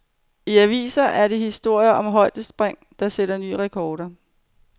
I avisen er der historier om højdespringere, der sætter nye rekorder.